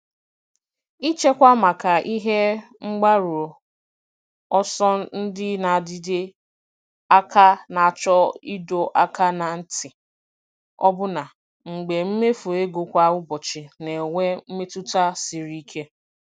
Ịchekwa maka ihe mgbaru ọsọ ndị na-adịte aka na-achọ ịdọ aka ná ntị, ọbụna mgbe mmefu ego kwa ụbọchị na-enwe mmetụta siri ike.